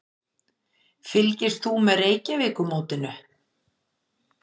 Fylgist þú með Reykjavíkurmótinu?